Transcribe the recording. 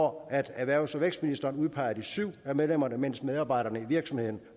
hvoraf erhvervs og vækstministeren udpeger de syv af medlemmerne mens medarbejderne i virksomheden